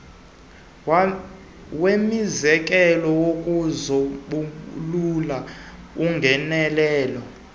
wemizekelo wokusombulula ungenelelo